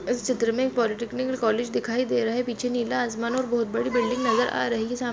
इस चित्र मे एक पॉलिटेक्नीक कॉलेज दिखाई दे रहा है पीछे नीला आसमान और बहुत बड़ी बिल्डिंग नजर आ रही है सामने --